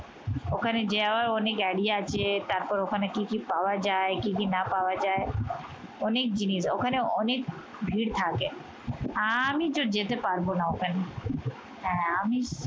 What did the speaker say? ওখানে যাওয়া অনেক গাড়ি আছে আবার ওখানে কি কি পাওয়া যায় কি কি না পাওয়া যায় অনেক জিনিস ওখানে অনেক ভিড় থাকে আমি তো যেতে পারবো না ওখানে হ্যাঁ আমি